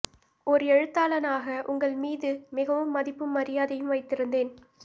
ஓர் எழுத்தாளனாக உங்கள் மீது மிகவும் மதிப்பும் மரியாதையும் வைத்திருந்தேன்